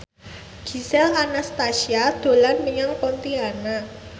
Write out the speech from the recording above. Gisel Anastasia dolan menyang Pontianak